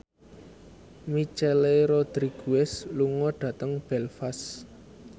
Michelle Rodriguez lunga dhateng Belfast